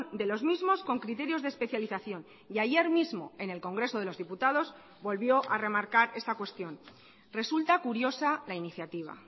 de los mismos con criterios de especialización y ayer mismo en el congreso de los diputados volvió a remarcar esta cuestión resulta curiosa la iniciativa